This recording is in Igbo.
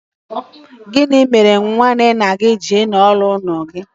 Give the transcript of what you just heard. Gị mere nwanne nna gị ji nọ n'ime ime ụlọ gị?